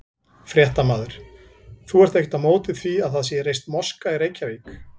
Fréttamaður: Þú ert ekkert á móti því að það sé reist moska í Reykjavík?